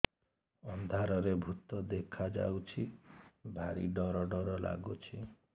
ଅନ୍ଧାରରେ ଭୂତ ଦେଖା ଯାଉଛି ଭାରି ଡର ଡର ଲଗୁଛି